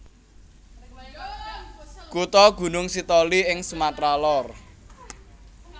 Kutha Gunung Sitoli ing Sumatra Lor